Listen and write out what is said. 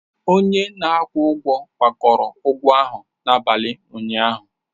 Onye a na-akwụ ụgwọ gbakọrọ ụgwọ ahụ n'abalị ụnyaahụ.